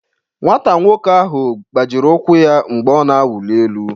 Nwata nwoke ahụ gbajiri ụkwụ ya mgbe ọ na-awụli elu